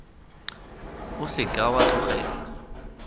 o se ka wa tlogela